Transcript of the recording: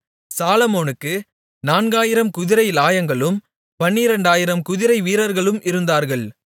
சாலொமோனுக்கு 4000 குதிரைலாயங்களும் 12000 குதிரை வீரர்களும் இருந்தார்கள்